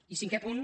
i cinquè punt